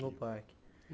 No parque.